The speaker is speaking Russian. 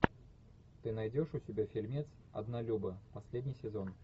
ты найдешь у себя фильмец однолюбы последний сезон